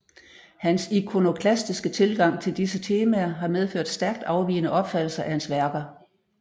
Hans ikonoklastiske tilgang til disse temaer har medført stærkt afvigende opfattelser af hans værker